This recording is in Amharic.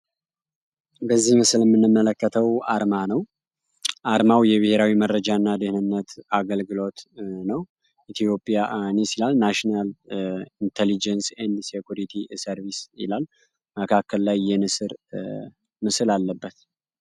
በዚህ ምስል የምንመለከተው አርማ ነው። አርማው የብሄራዊ መረጃ እና ደህንነት አገልግሎት ነው። ኢትዮጵያንስ ይላል ናሽናል